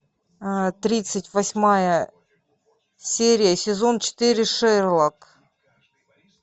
тридцать восьмая серия сезон четыре шерлок